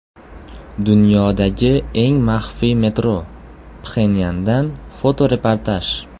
Dunyodagi eng maxfiy metro: Pxenyandan fotoreportaj.